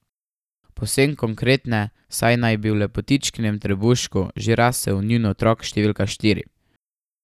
Povsem konkretne, saj naj bi v lepotičkinem trebuščku že rasel njun otrok številka štiri.